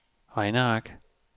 regneark